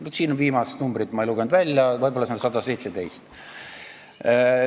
Vaat siin ma viimast numbrit ei lugenud välja, võib-olla on see 117.